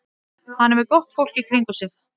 Hann er með gott fólk í kringum sig.